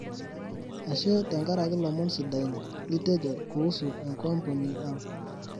ashe tenkaraki lomon sidain litejo kuusu enkampuni ang